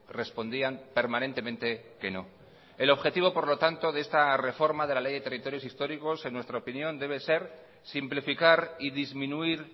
respondían permanentemente que no el objetivo por lo tanto de esta reforma de la ley de territorios históricos en nuestra opinión debe ser simplificar y disminuir